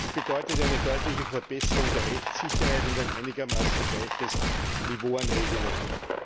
Dies bedeutet eine deutliche Verbesserung der Rechtssicherheit und ein einigermaßen gleiches Niveau an Regelungen.